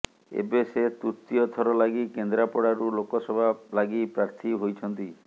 ଏବେ ସେ ତୃତୀୟ ଥର ଲାଗି କେନ୍ଦ୍ରାପଡ଼ାରୁ ଲୋକସଭା ଲାଗି ପ୍ରାର୍ଥୀ ହୋଇଛନ୍ତି